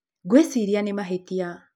Ngwĩciria nĩ mahĩtia